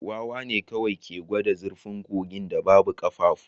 Wawa ne kawai ke gwada zurfin kogin da babu ƙafafu